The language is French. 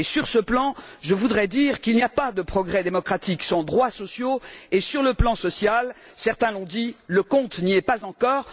Sur ce plan, je voudrais dire qu'il n'y a pas de progrès démocratique sans droits sociaux et, sur le plan social, certains l'ont dit, le compte n'y est pas encore.